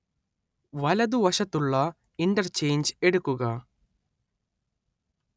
വലതുവശത്തുള്ള ഇന്റർചെയ്ഞ്ച് എടുക്കുക